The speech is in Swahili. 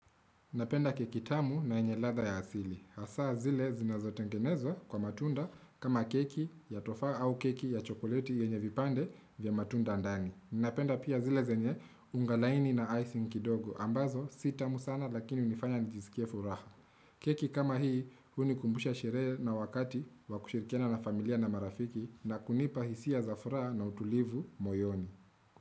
Napenda kekitamu na yenye ladha ya asili. Hasa zile zinazo tengenezwa kwa matunda kama keki ya tufa au keki ya chokolieti yenye vipande vya matunda ndani. Napenda pia zile zenye ungalaini na icing kidogo ambazo si tamu sana lakini unifanya njizikie furaha. Keki kama hii unikumbusha shierehe na wakati wakushirikiana na familia na marafiki na kunipa hisia za furaha na utulivu moyoni.